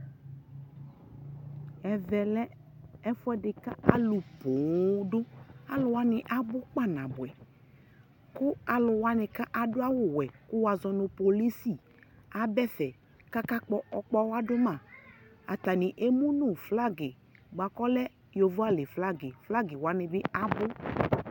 ɛvɛ lɛ kʋ alʋ pɔɔm dʋ, alʋ wani abʋ kpa 'nabʋɛ kʋ alʋ wani adʋ awʋ wɛ kʋ wazɔnʋ polisi aba ɛƒɛ kʋ aka gbɔ ɔwa dʋma, atani ɛmʋnʋ flagi bʋakʋ ɔlɛ yɔvɔ ali flagi, flagi wani bi abʋ